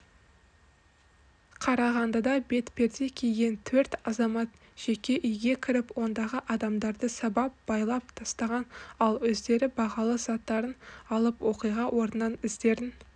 қарағандыда бетперде киген төрт азамат жеке үйге кіріп ондағы адамдарды сабап байлап тастаған ал өздері бағалы затарын алып оқиға орнынан іздерін